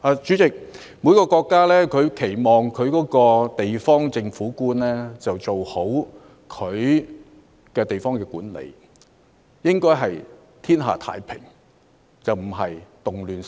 主席，每個國家都期望地方政府官員做好地方管理，讓天下太平而非動亂四起。